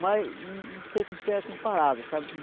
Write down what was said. mas não não sei com o que é comparada, sabe?